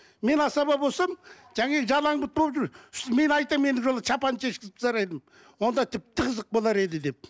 мен асаба болсам жалаң бұт болып жүр мен айтамын ендігі жолы шапанын шешкізіп тастар едім онда тіпті қызық болар еді деп